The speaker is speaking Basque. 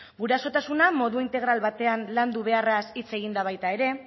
gurasotasuna modu integral batean landu beharraz hitz egin da baita ere